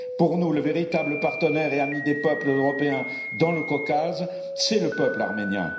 Pour nous, le véritable partenaire et ami des peuples européens dans le Caucase, c'est le peuple arménien.